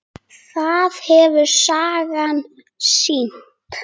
Það hefur sagan sýnt.